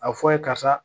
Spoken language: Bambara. A fɔ ye karisa